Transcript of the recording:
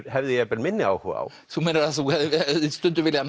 hefði jafnvel minni áhuga á þú meinar að þú hefðir stundum viljað